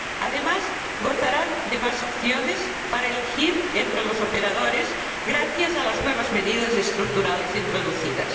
Además, gozarán de más opciones para elegir entre los operadores gracias a las nuevas medidas estructurales introducidas.